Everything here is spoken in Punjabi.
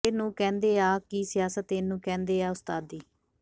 ਇਹ ਨੂੰ ਕਹਿੰਦੇ ਆ ਕਿ ਸਿਆਸਤ ਇਹਨੂੰ ਕਹਿੰਦੇ ਆ ਉਸਤਾਦੀ